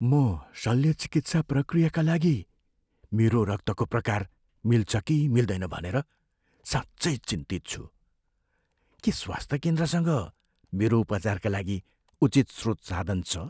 म शल्य चिकित्सा प्रक्रियाका लागि मेरो रक्तको प्रकार मिल्छ कि मिल्दैन भनेर साँच्चै चिन्तित छु। के स्वास्थ्य केन्द्रसँग मेरो उपचारका लागि उचित स्रोत साधन छ?